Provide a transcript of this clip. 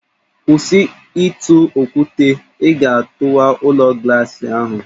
Kwụsị ịtụ okwute, ị ga-atụwa ụlọ glaasị ahụ!